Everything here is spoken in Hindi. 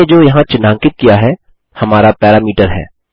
मैंने जो यहाँ चिन्हांकित किया है हमारा पैरामीटर है